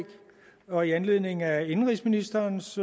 og i anledning af indenrigsministerens